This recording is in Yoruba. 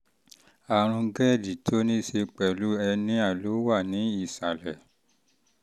àrùn gerd tó ní í ṣe pẹ̀lú hẹ́níà tó wà ní ìsàlẹ̀